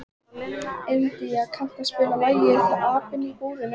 India, kanntu að spila lagið „Apinn í búrinu“?